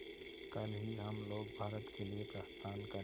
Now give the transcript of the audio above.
कल ही हम लोग भारत के लिए प्रस्थान करें